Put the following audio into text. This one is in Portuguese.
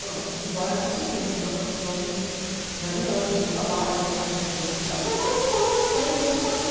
Falei, ó, não vai pelo seguinte, nós vimos já de anos de trabalho, agora começou a dar resultado, mas falando manso com ele, com a educação.